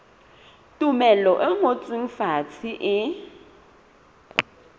tumello e ngotsweng fatshe e